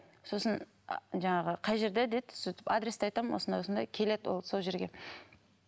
сосын жаңағы қай жерде деді сөйтіп адресті айтамын осындай осындай келеді ол сол жерге